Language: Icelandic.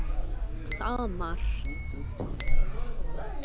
Það var margt.